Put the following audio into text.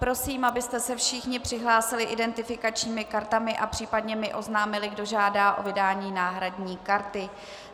Prosím, abyste se všichni přihlásili identifikačními kartami a případně mi oznámili, kdo žádá o vydání náhradní karty.